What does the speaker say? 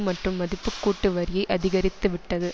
மற்றும் மதிப்புக்கூட்டு வரியை அதிகரித்துவிட்டது